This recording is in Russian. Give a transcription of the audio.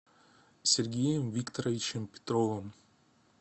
сергеем викторовичем петровым